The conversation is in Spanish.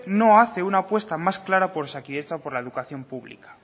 no hace una apuestas más clara por osakidetza o por la educación pública